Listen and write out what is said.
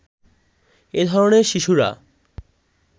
এ ধরনের শিশুরা